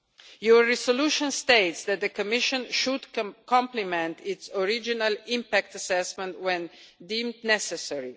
Your resolution states that the Commission should complement its original impact assessment when deemed necessary.